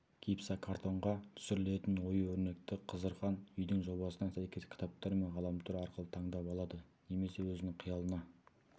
гипсокартонға түсірілетін ою-өрнекті қызырхан үйдің жобасына сәйкес кітаптар мен ғаламтор арқылы таңдап алады немесе өзінің қиялына